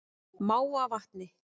Mávavatni